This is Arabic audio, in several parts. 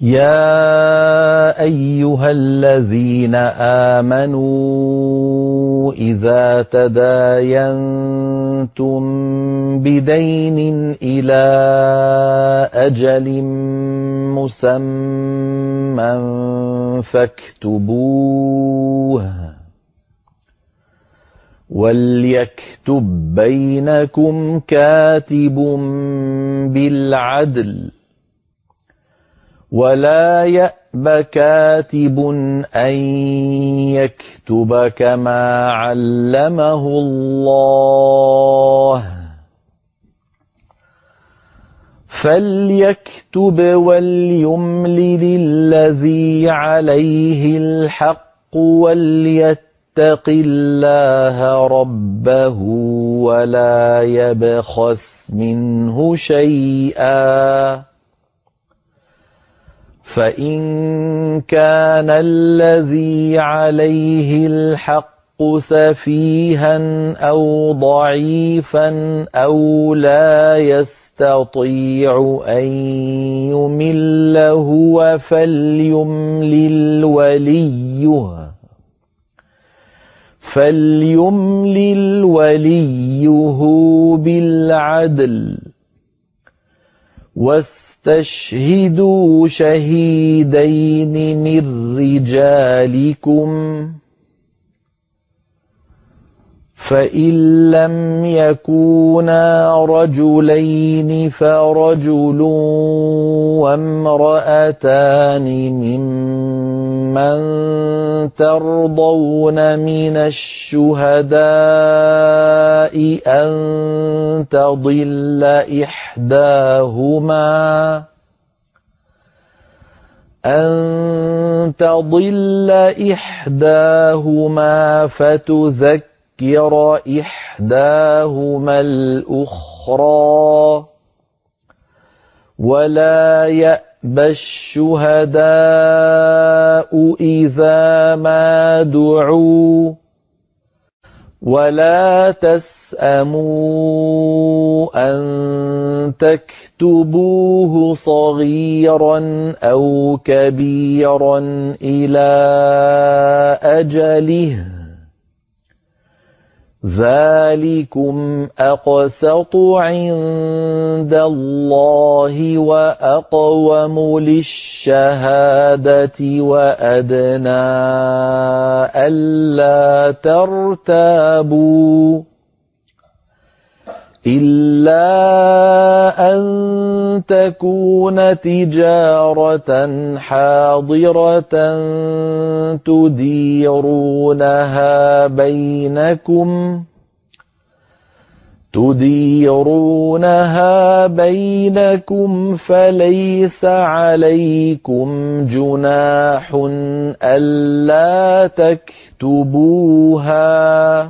يَا أَيُّهَا الَّذِينَ آمَنُوا إِذَا تَدَايَنتُم بِدَيْنٍ إِلَىٰ أَجَلٍ مُّسَمًّى فَاكْتُبُوهُ ۚ وَلْيَكْتُب بَّيْنَكُمْ كَاتِبٌ بِالْعَدْلِ ۚ وَلَا يَأْبَ كَاتِبٌ أَن يَكْتُبَ كَمَا عَلَّمَهُ اللَّهُ ۚ فَلْيَكْتُبْ وَلْيُمْلِلِ الَّذِي عَلَيْهِ الْحَقُّ وَلْيَتَّقِ اللَّهَ رَبَّهُ وَلَا يَبْخَسْ مِنْهُ شَيْئًا ۚ فَإِن كَانَ الَّذِي عَلَيْهِ الْحَقُّ سَفِيهًا أَوْ ضَعِيفًا أَوْ لَا يَسْتَطِيعُ أَن يُمِلَّ هُوَ فَلْيُمْلِلْ وَلِيُّهُ بِالْعَدْلِ ۚ وَاسْتَشْهِدُوا شَهِيدَيْنِ مِن رِّجَالِكُمْ ۖ فَإِن لَّمْ يَكُونَا رَجُلَيْنِ فَرَجُلٌ وَامْرَأَتَانِ مِمَّن تَرْضَوْنَ مِنَ الشُّهَدَاءِ أَن تَضِلَّ إِحْدَاهُمَا فَتُذَكِّرَ إِحْدَاهُمَا الْأُخْرَىٰ ۚ وَلَا يَأْبَ الشُّهَدَاءُ إِذَا مَا دُعُوا ۚ وَلَا تَسْأَمُوا أَن تَكْتُبُوهُ صَغِيرًا أَوْ كَبِيرًا إِلَىٰ أَجَلِهِ ۚ ذَٰلِكُمْ أَقْسَطُ عِندَ اللَّهِ وَأَقْوَمُ لِلشَّهَادَةِ وَأَدْنَىٰ أَلَّا تَرْتَابُوا ۖ إِلَّا أَن تَكُونَ تِجَارَةً حَاضِرَةً تُدِيرُونَهَا بَيْنَكُمْ فَلَيْسَ عَلَيْكُمْ جُنَاحٌ أَلَّا تَكْتُبُوهَا ۗ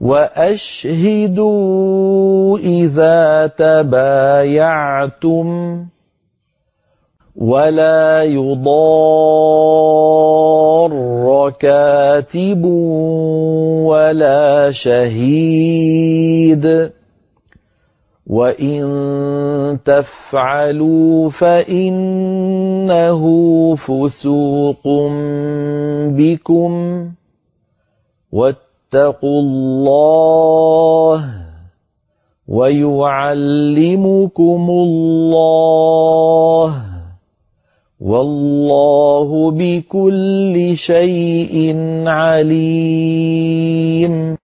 وَأَشْهِدُوا إِذَا تَبَايَعْتُمْ ۚ وَلَا يُضَارَّ كَاتِبٌ وَلَا شَهِيدٌ ۚ وَإِن تَفْعَلُوا فَإِنَّهُ فُسُوقٌ بِكُمْ ۗ وَاتَّقُوا اللَّهَ ۖ وَيُعَلِّمُكُمُ اللَّهُ ۗ وَاللَّهُ بِكُلِّ شَيْءٍ عَلِيمٌ